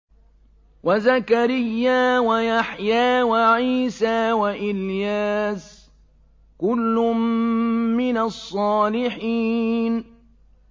وَزَكَرِيَّا وَيَحْيَىٰ وَعِيسَىٰ وَإِلْيَاسَ ۖ كُلٌّ مِّنَ الصَّالِحِينَ